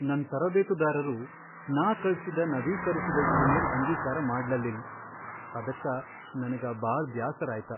ನನ್ ತರಬೇತುದಾರರು ನಾ ಕಳ್ಸಿದ ನವೀಕರಿಸಿದ ಇಮೇಲ್ ಅಂಗೀಕಾರ ಮಾಡ್ಲಲ್ಲಿಲ್ ಅದಕ್ಕ ನನಗ ಬಾಳ್ ಬ್ಯಾಸರ್ ಆಯ್ತ.